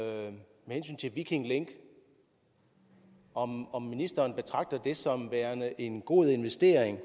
hensyn til viking link om om ministeren betragter det som værende en god investering